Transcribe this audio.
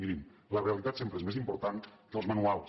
mirin la realitat sempre és més important que els manuals